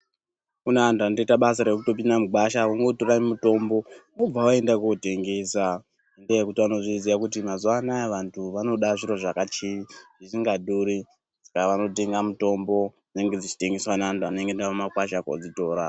Kune andu anotoita basa rekupinda mugwasha vongotora mutombo vobva vaenda kotengesa ngenyaa yekuti vanozviziva khti mazuva anaya vandu vanoda zviro zvisinga dhuri.